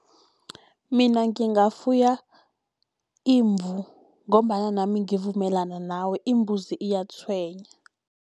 Mina ngingafuya imvu, ngombana nami ngivumelana nawe imbuzi iyatshwenya.